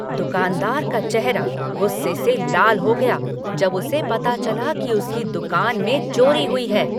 दुकानदार का चेहरा गुस्से से लाल हो गया जब उसे पता चला कि उसकी दुकान में चोरी हुई है।